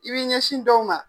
I b'i ɲɛsin dɔw ma.